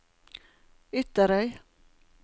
Ytterøy